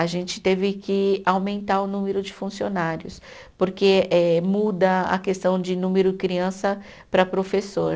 A gente teve que aumentar o número de funcionários, porque eh muda a questão de número criança para professor.